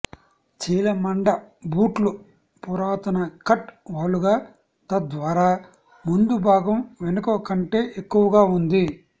చీలమండ బూట్లు పురాతన కట్ వాలుగా తద్వారా ముందు భాగం వెనుక కంటే ఎక్కువగా ఉంది